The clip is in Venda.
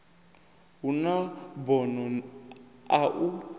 hu na bono a u